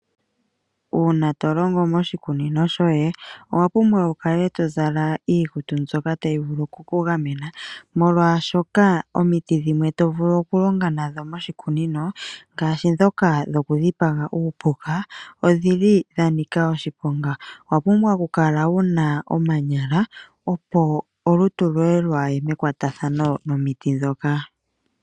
Uuna to longo moshikunino shoye, owa pumbwa wukale to zala iikutu mbyoka tayi vulu okukugamena molwashoka omiti dhimwe to vulu okulonga nadho moshikunino ngaashi ndhoka dhokudhipaga uupuka odhili dha nika oshiponga, owa pumbwa okukala wuna omanyala opo olutu lwoye lwaaye mekwatathano nomiti ndhoka.